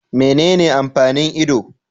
Menene amfanin Ido